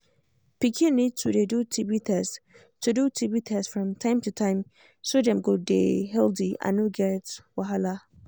pikin need to dey do tb test do tb test from time to time so dem go dey healthy and no get wahala